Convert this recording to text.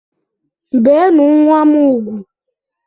Beenu nwa m ugwu!